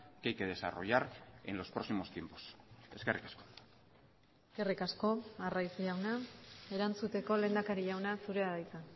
que hay que desarrollar en los próximos tiempos eskerrik asko eskerrik asko arraiz jauna erantzuteko lehendakari jauna zurea da hitza